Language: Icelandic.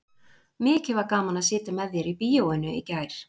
Mikið var gaman að sitja með þér í bíóinu í gær.